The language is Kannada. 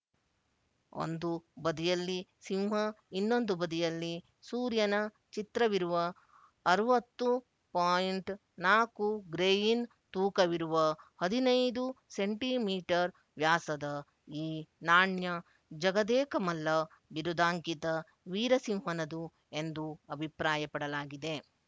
ಒಂದು ಬದಿಯಲ್ಲಿ ಸಿಂಹ ಇನ್ನೊಂದು ಬದಿಯಲ್ಲಿ ಸೂರ್ಯನ ಚಿತ್ರವಿರುವ ಅರವತ್ತು ಪೋಯಿಂಟ್ ನಾಲ್ಕು ಗ್ರೆಯಿನ್ ತೂಕವಿರುವ ಹದಿನೈದು ಸೆಂಟಿಮೀಟರ್ ವ್ಯಾಸದ ಈ ನಾಣ್ಯ ಜಗದೇಕಮಲ್ಲ ಬಿರುದಾಂಕಿತ ವೀರಸಿಂಹನದು ಎಂದು ಅಭಿಪ್ರಾಯಪಡಲಾಗಿದೆ